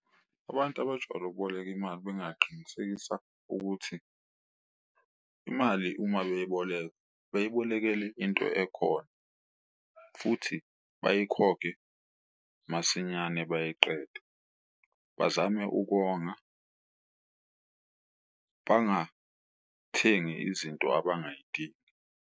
Abantu abajwayele ukuboleka imali bengaqinisekisa ukuthi imali uma beyiboleka beyibolekele into ekhona futhi bayikhokhe masinyane bayiqede. Bazame ukonga bangathengi izinto abangayidingi.